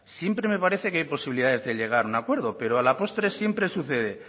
siempre me parece que hay posibilidades de llegar a un acuerdo pero a la postre siempre sucede